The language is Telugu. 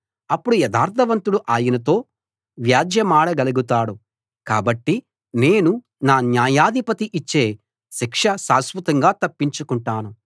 అప్పుడు యథార్ధవంతుడు ఆయనతో వ్యాజ్యెమాడగలుగుతాడు కాబట్టి నేను నా న్యాయాధిపతి ఇచ్చే శిక్ష శాశ్వతంగా తప్పించుకుంటాను